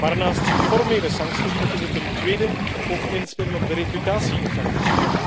Maar naast formele sancties, moeten we ten tweede ook inspelen op de reputatie effecten.